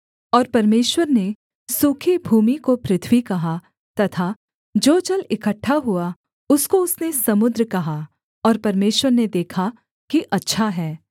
और परमेश्वर ने सूखी भूमि को पृथ्वी कहा तथा जो जल इकट्ठा हुआ उसको उसने समुद्र कहा और परमेश्वर ने देखा कि अच्छा है